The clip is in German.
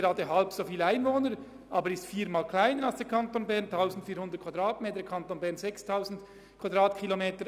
Der Kanton Aargau ist mit 1400 km viermal kleiner als der Kanton Bern mit seinen 6000 km.